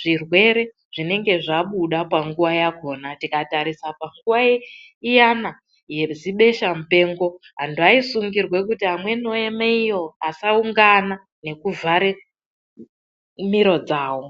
zvirwere zvinenge zvabuda panguwa yakona tikatarisa panguwa iyana yezibesha mupengo antu aisungirwa kuti amweni oema iyo asaungana nekuvhare miro dzawo.